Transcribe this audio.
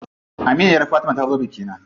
Aminiyar Fatima ta zo bikina.